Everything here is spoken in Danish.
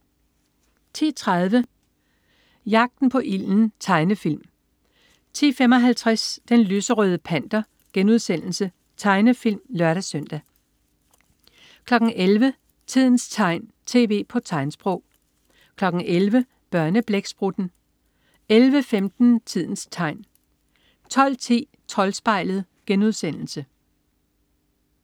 10.30 Jagten på ilden. Tegnefilm 10.55 Den lyserøde Panter.* Tegnefilm (lør-søn) 11.00 Tidens tegn, tv på tegnsprog 11.00 Børneblæksprutten 11.15 Tidens Tegn 12.10 Troldspejlet*